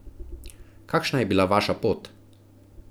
Kakšna je bila vaša pot?